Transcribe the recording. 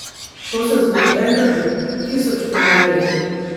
To se zgodi enkrat v tisoč primerih.